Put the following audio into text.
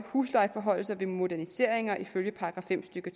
huslejeforhøjelser ved moderniseringer ifølge § fem stykke